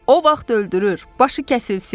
O vaxt öldürür, başı kəsilsin.